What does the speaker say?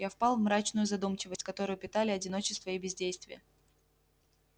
я впал в мрачную задумчивость которую питали одиночество и бездействие